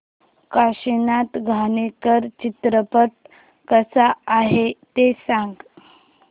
काशीनाथ घाणेकर चित्रपट कसा आहे ते सांग